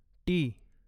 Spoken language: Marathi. टी